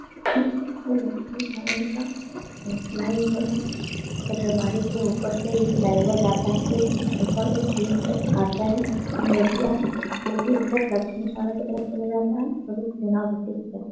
शहर का फ्लाईओवर है। के उप्पर से ये फ्लाई ओवर जाता है। आता है। जाता है --